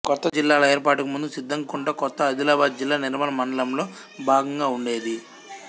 కొత్త జిల్లాల ఏర్పాటుకు ముందు సిద్దంకుంట కొత్త ఆదిలాబాదు జిల్లా నిర్మల్ మండలంలో భాగంగా ఉండేది